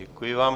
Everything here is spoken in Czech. Děkuji vám.